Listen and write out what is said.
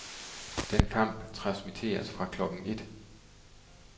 Den kamp transmitteres fra klokken et.